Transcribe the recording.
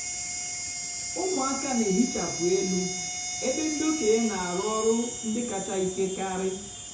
ụmụaka nà-èhichapụ élú ébé ndị ókéenyi nà-àrụ ọrụ ndị kàchá íkè karị.